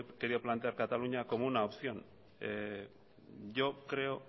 quería plantear cataluña como una opción yo creo